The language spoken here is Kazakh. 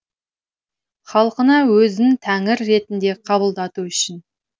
халқына өзін тәңір ретінде қабылдату үшін